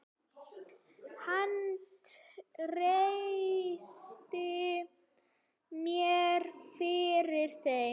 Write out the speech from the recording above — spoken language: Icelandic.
Hann treysti mér fyrir þeim.